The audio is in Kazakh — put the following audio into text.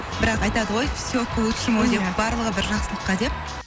бірақ айтады ғой все к лучшему деп барлығы бір жақсылыққа деп